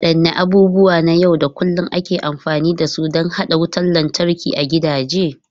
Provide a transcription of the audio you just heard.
Wadanne abubuwa na yau da kullun ake amfani da su don haɗa wutar lantarki a gidaje?